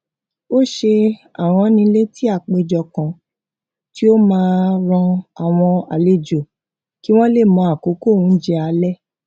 ó ṣe aránilétí àpèjọ kan tí ó máa rán àwọn àlejò kí wón lè mọ àkókò oúnjẹ alẹ